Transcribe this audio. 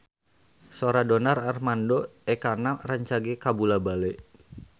Sora Donar Armando Ekana rancage kabula-bale